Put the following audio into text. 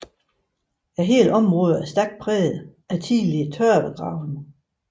Hele området er stærkt præget af tidligere tørvegravning